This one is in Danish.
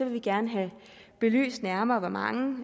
vi gerne have belyst nærmere hvor mange